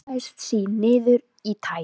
Hann skammaðist sín niður í tær.